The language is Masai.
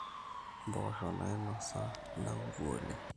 impoosho naainosa ina kukuu oleng